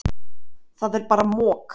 Það er bara mok.